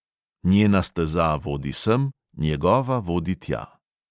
Njena steza vodi sem, njegova vodi tja.